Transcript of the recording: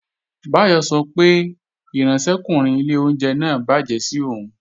Báyọ̀ sọ pé ìránṣẹ́kùnrin ilé oúnjẹ náà bàjẹ́ sí òun